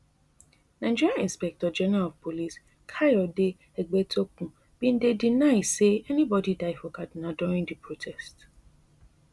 nigeria inspector general of police kayode egbetokun bin deny say anybodi die for kaduna during di protest